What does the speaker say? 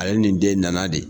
Ale ni den in nana de!